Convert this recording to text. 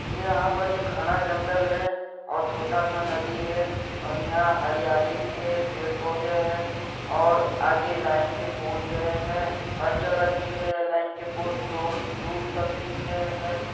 यहाँ पर एक घना जंगल है और छोटा सा नदी है और यहाँ हरियाली भी है पेड़ पौधे है और आगे लाइन के पोल गए है हर जगह दिख रहे है लाइन के पोल बहुत दौर दूर तक दिख रहे है।